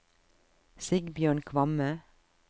Sigbjørn Kvamme